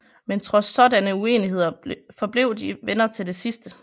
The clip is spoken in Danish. Men trods sådanne uenigheder forblev de venner til det sidste